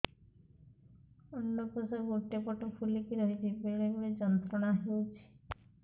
ଅଣ୍ଡକୋଷ ଗୋଟେ ପଟ ଫୁଲିକି ରହଛି ବେଳେ ବେଳେ ଯନ୍ତ୍ରଣା ହେଉଛି